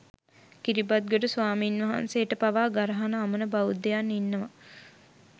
කිරිබත්ගොඩ ස්වාමීන්වහන්සේට පවා ගරහන අමන බෞද්ධයන් ඉන්නවා